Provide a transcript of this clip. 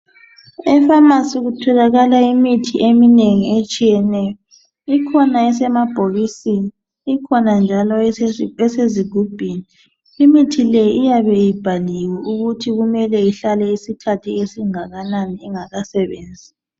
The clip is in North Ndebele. Efamasi kutholakala imithi eminengi etshiyeneyo ikhona esemabhokisini ikhona njalo ezigubhini imithi le iyabe ibhaliwe ukuthi kumele ihlale isikhathi esingakanani ingakasebenzi